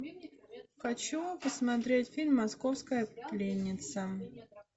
хочу посмотреть фильм московская пленница